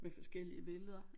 Med forskellige billeder